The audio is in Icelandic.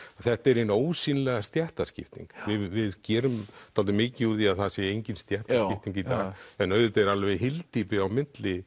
þetta er hin ósýnilega stéttaskipting við gerum dálítið mikið úr því að það sé engin stéttaskipting í dag en auðvitað er alveg hyldýpi á milli